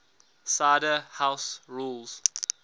cider house rules